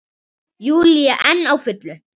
Júlía enn á fullu.